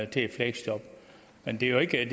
til et fleksjob men det er jo ikke